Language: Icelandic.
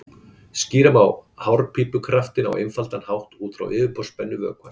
skýra má hárpípukraftinn á einfaldan hátt út frá yfirborðsspennu vökvans